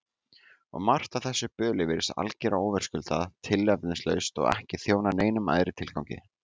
Og margt af þessu böli virðist algerlega óverðskuldað, tilefnislaust og ekki þjóna neinum æðri tilgangi.